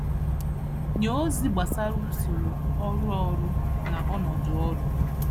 Nye ozi gbasara usoro, ọrụ ọrụ na ọnọdụ ọrụ